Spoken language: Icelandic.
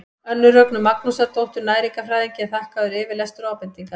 önnu rögnu magnúsardóttur næringarfræðingi er þakkaður yfirlestur og ábendingar